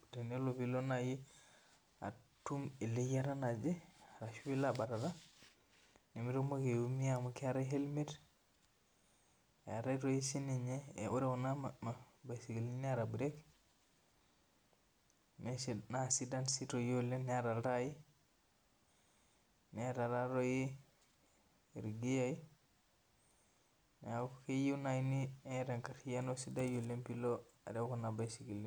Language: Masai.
patenelo atum eleyiata naje ashu pilo abatata nimilo aumia eetae sininye ore kuna baisikilini naidaj oleng neeta iltai neaku toi keeta irgiai neaku keyiieu niatabenkardasi enkariano pilo arew inabaisikil